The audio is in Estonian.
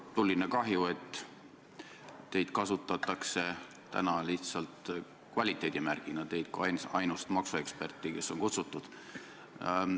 Tuline kahju, et teid kasutatakse täna lihtsalt kvaliteedimärgina – teid kui ainsat maksueksperti, kes on kutsutud.